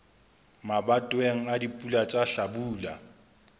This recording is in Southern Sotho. mabatoweng a dipula tsa hlabula